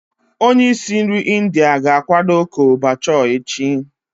Onye isi nri India ga-akwado Chole bhature echi.